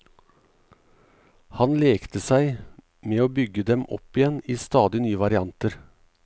Han lekte seg med å bygge dem opp igjen i stadig nye varianter.